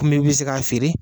Komi ka bɛ se se k'a feere.